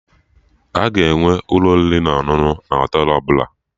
A ga-enwe ụlọ oriri na ọṅụṅụ na Họtelụ ọbụla